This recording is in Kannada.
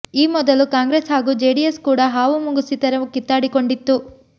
ಈ ಮೊದಲು ಕಾಂಗ್ರೆಸ್ ಹಾಗೂ ಜೆಡಿಎಸ್ ಕೂಡ ಹಾವು ಮುಂಗುಸಿ ಥರ ಕಿತ್ತಾಡಿಕೊಂಡಿತ್ತು